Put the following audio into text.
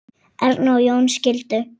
Erna og Jón skildu.